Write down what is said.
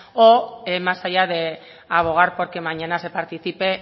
o más allá de abogar por que mañana se participe